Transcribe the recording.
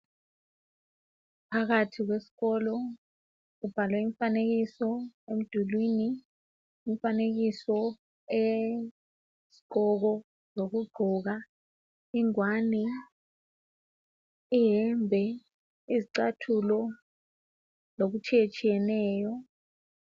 Phakathi kwesikolo kubhalwe imfanekiso emdulwini. Umfanekiso wesigqoko zokugqoka, ingwane, iyembe, izicathulo lokutshiyetshiyeneyo.